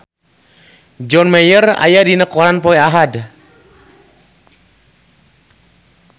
John Mayer aya dina koran poe Ahad